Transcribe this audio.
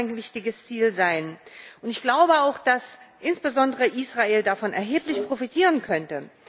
Das muss auch ein wichtiges Ziel sein, und ich glaube auch, dass insbesondere Israel davon erheblich profitieren könnte.